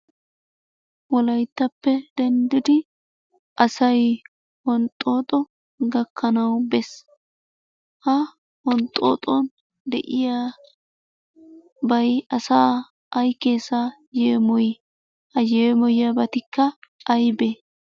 Wolayttappe denddidi asay honxxoxo gakkanawu bees. Ha honxxoxon de'iyaabay asa ay keessa yeemoy? Ha yeemoyiyabatikka aybbe?